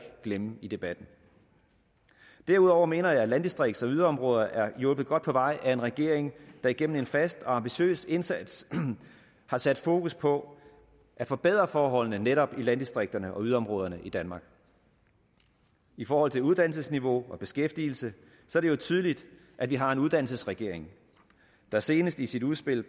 glemme i debatten derudover mener jeg at landdistrikts og yderområder er hjulpet godt på vej af en regering der igennem en fast og ambitiøs indsats har sat fokus på at forbedre forholdene netop i landdistrikterne og yderområderne i danmark i forhold til uddannelsesniveau og beskæftigelse er det jo tydeligt at vi har en uddannelsesregering der senest i sit udspil